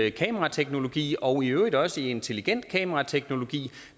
i kamerateknologi og i øvrigt også i intelligent kamerateknologi